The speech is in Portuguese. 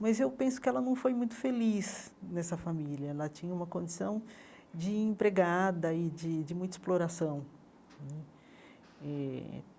Mas eu penso que ela não foi muito feliz nessa família, ela tinha uma condição de empregada e de de muita exploração hum eh.